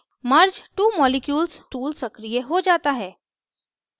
merge two molecules tool सक्रिय हो जाता है